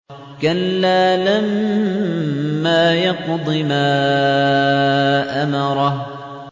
كَلَّا لَمَّا يَقْضِ مَا أَمَرَهُ